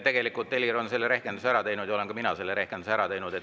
Tegelikult on Helir selle rehkenduse ära teinud ja olen ka mina selle rehkenduse ära teinud.